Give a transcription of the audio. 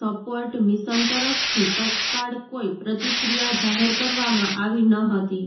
support Mission તરફથી તત્કાળ કોઈ પ્રતિક્રિયા જાહેર કરવામાં આવી ન હતી